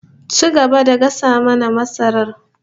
Ci gaba da gasa mana masarar